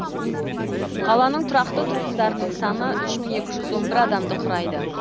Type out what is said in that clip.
қаланың тұрақты тұрғындарының саны үш мың екі жүз он бір адамды құрайды